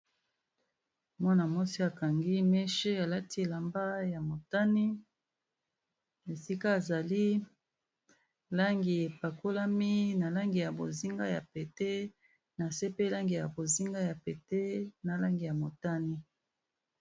Mwana muasi akangi meche alati elamba ya motane esika azali langi epakolami na langi ya bozinga ya pete na se pe langi ya bozinga ya pete na langi ya motane.